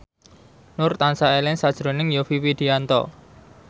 Nur tansah eling sakjroning Yovie Widianto